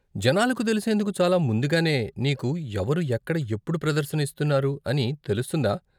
జనాలకు తెలిసేందుకు చాలా ముందుగానే నీకు ఎవరు, ఎక్కడ, ఎప్పుడు ప్రదర్శన ఇస్తున్నారు అని తెలుస్తుందా?